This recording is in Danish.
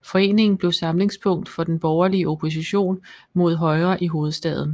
Foreningen blev samlingspunkt for den borgerlige opposition mod Højre i hovedstaden